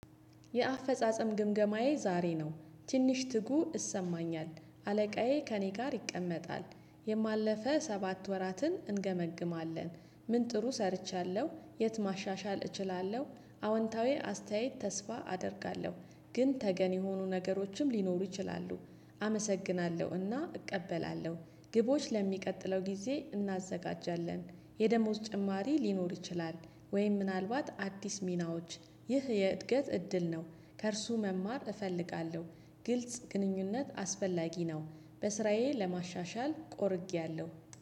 የአፈጻጸም ግምገማዬ ዛሬ ነው ትንሽ ትጉ ይሰማኛል አለቃዬ ከእኔ ጋር ይቀመጣል የባለፈ ሰባት ወራትን እንገመግማለን። ምን ጥሩ ሰርቻለሁ የት ማሻሻል እችላለሁ? አወንታዊ አስተያየት ተስፋ አደርጋለሁ። ግን ተገን የሆኑ ነገሮችም ሊኖሩ ይችላሉ። አመሰግናለሁ እና እቀበላለሁ። ግቦች ለሚቀጥለው ጊዜ እናዘጋጃለን። የደሞዝ ጭማሪ ሊኖር ይችላል? ወይም ምናልባት አዲስ ሚናዎች። ይህ የእድገት እድል ነው። ከእርሱ መማር እፈልጋለሁ። ግልጽ ግንኙነት አስፈላጊ ነው። በስራዬ ለማሻሻል ቆርጬያለሁ።